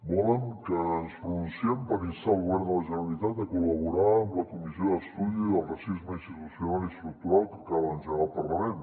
volen que ens pronunciem per instar el govern de la generalitat a col·laborar amb la comissió d’estudi del racisme institucional i estructural que acaba d’engegar el parlament